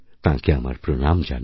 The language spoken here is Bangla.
তাঁকে আমার প্রণাম জানাই